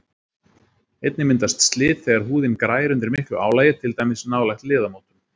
Einnig myndast slit þegar húðin grær undir miklu álagi, til dæmis nálægt liðamótum.